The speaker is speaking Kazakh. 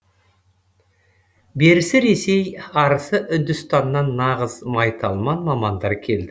берісі ресей арысы үндістаннан нағыз майталман мамандар келді